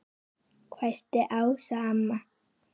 hvæsti Ása amma.